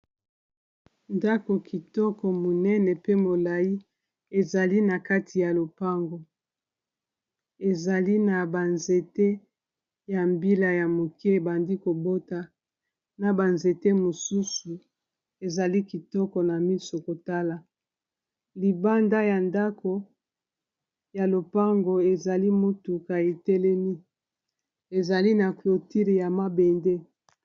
ndako kitoko monene pe molai ezali na kati ya lopango ezali na banzete ya mbila ya moke ebandi kobota na banzete mosusu ezali kitoko na miso kotala libanda ya ndako ya lopango ezali mutukaetelemi ezali na clotile ya mabende